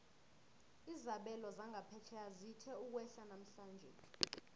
izabelo zangaphetjheya zithe ukwehla namhlanje